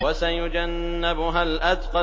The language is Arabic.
وَسَيُجَنَّبُهَا الْأَتْقَى